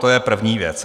To je první věc.